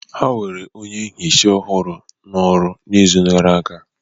Ha were onye nhicha ọhụrụ n'ọrụ n'izu gara aga